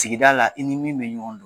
Sigida la i ni min bɛ ɲɔgɔn na